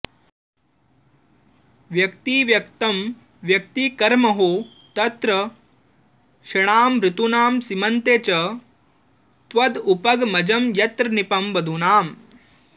व्यक्तिव्यक्तं व्यतिकरमहो तत्र षण्णामृतूनां सीमन्ते च त्वदुपगमजं यत्र नीपं वधूनाम्